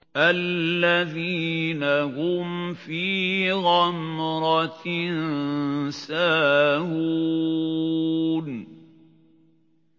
الَّذِينَ هُمْ فِي غَمْرَةٍ سَاهُونَ